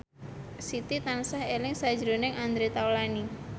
Siti tansah eling sakjroning Andre Taulany